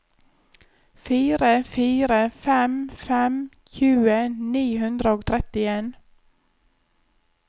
fire fire fem fem tjue ni hundre og trettien